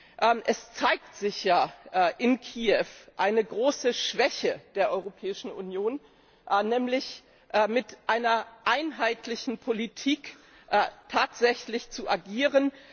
In Kiew zeigt sich ja eine große Schwäche der Europäischen Union, nämlich mit einer einheitlichen Politik tatsächlich zu agieren.